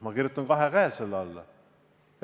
Ma kirjutan sellele kahe käega alla.